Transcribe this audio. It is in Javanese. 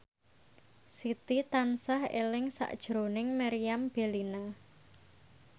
Siti tansah eling sakjroning Meriam Bellina